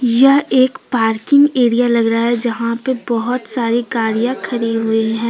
यह एक parking area लग रहा है यहां पे बहुत सारी गाड़ियां खड़ी हुई हैं।